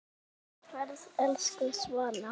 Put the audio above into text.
Góða ferð, elsku Svana.